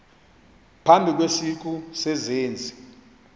phambi kwesiqu sezenzi